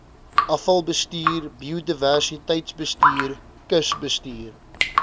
afvalbestuur biodiversiteitsbestuur kusbestuur